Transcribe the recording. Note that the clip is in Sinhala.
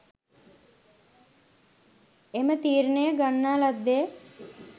එම තීරණය ගන්නා ලද්දේ